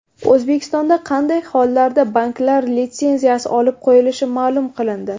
O‘zbekistonda qanday hollarda banklar litsenziyasi olib qo‘yilishi ma’lum qilindi.